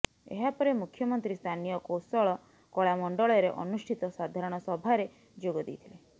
ଏହାପରେ ମୁଖ୍ୟମନ୍ତ୍ରୀ ସ୍ଥାନୀୟ କୋଶଳ କଳାମଣ୍ଡଳରେ ଅନୁଷ୍ଠିତ ସାଧାରଣ ସଭାରେ ଯୋଗ ଦେଇଥିଲେ